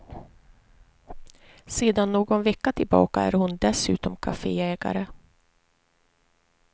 Sedan någon vecka tillbaka är hon dessutom kafeägare.